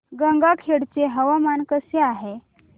गंगाखेड चे हवामान कसे आहे